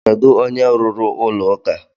Kedu onye rụrụ ụlọ ụka?